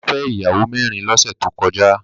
Bàbá fẹ́ ìyàwó mẹ́rin lọ́sẹ̀ tó kọjá